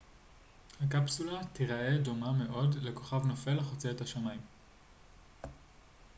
הקפסולה תיראה דומה מאוד לכוכב נופל החוצה את השמים